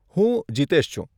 હું જીતેશ છું.